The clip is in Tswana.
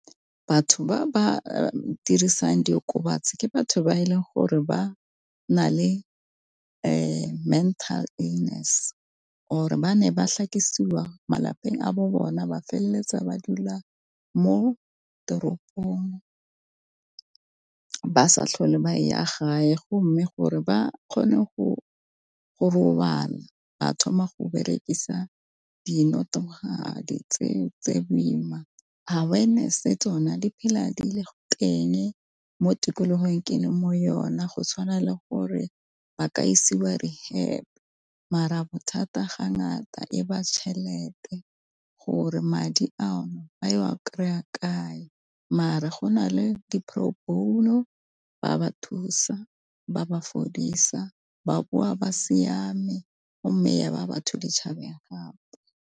Batho ba ba dirisang diokobatsi ke batho ba e leng gore ba na le mental illness or-e ba ne ba malapeng a bo bona ba feleletsa ba dula mo teropong ba sa tlhole ba ya gae, go mme gore ba kgone go go robala ba thoma go berekisa tse boima. Awareness-e tsona di phela di le go teng mo tikologong ke le mo yona go tshwana le gore ba ka isiwa reherb mara thata ga ngata e ba tšhelete gore madi ano ba ya kry-a kae mare go na le Di-proborno ba ba thusa ba ba fodisa ba boa ba siame, mme ya ba batho ditšhabeng gape.